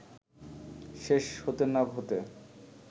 শেষ হতে না হতে